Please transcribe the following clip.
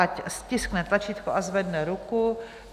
Ať stiskne tlačítko a zvedne ruku.